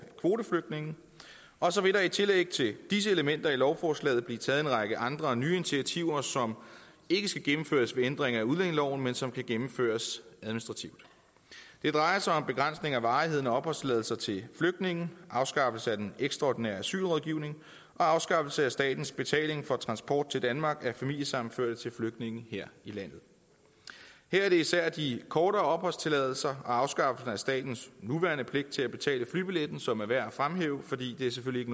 kvoteflygtninge og så vil der i tillæg til disse elementer i lovforslaget blive taget en række andre og nye initiativer som ikke skal gennemføres ved ændring af udlændingeloven men som kan gennemføres administrativt det drejer sig om begrænsning af varigheden af opholdstilladelser til flygtninge afskaffelse af den ekstraordinære asylrådgivning og afskaffelse af statens betaling for transport til danmark af familiesammenførte til flygtninge her i landet her er det især de kortere opholdstilladelser og afskaffelsen af statens nuværende pligt til at betale flybilletten som er værd at fremhæve for det er selvfølgelig